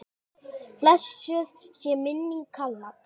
Blessuð sé minning Kalla.